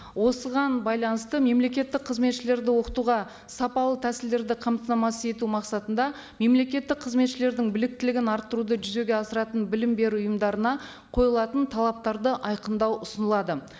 осыған байланысты мемлекеттік қызметшілерді оқытуға сапалы тәсілдерді қамтамасыз ету мақсатында мемлекеттік қызметшілердің біліктілігін арттыруды жүзеге асыратын білім беру ұйымдарына қойылатын талаптарды айқындау ұсынылады